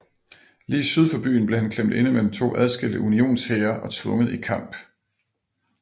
Lige syd for byen blev kan klemt inde mellem to adskilte Unionshære og tvunget i kamp